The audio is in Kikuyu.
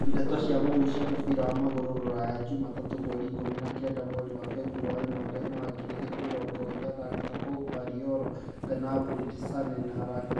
Ndeto cia mũhuhu cia mũbira wa magũrũ Rũraya juma tatũ mweri ikũmi na kenda mweri wa Februarĩ mwaka wa ngiri igĩrĩ mĩrongo ĩrĩ athaki ta Pogba, Raiola, Gnabry, Sane, Rangnick.